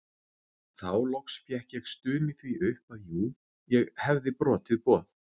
Þá loks fékk ég stunið því upp að jú ég hefði brotið boð